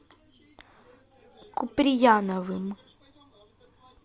куприяновым